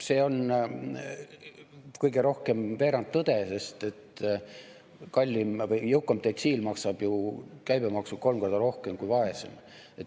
See on kõige rohkem veerandtõde, sest jõukam detsiil maksab ju käibemaksu kolm korda rohkem kui vaesem.